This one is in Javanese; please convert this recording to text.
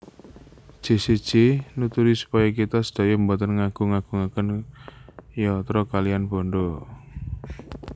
Jesse J nuturi supaya kita sedaya mboten ngagung agungaken yatra kaliyan bandha